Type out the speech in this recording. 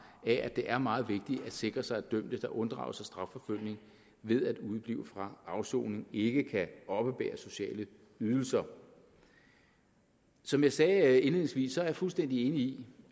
at det er meget vigtigt at sikre sig at dømte der unddrager sig strafforfølgning ved at udeblive fra afsoning ikke kan oppebære sociale ydelser som jeg sagde indledningsvis er jeg fuldstændig enig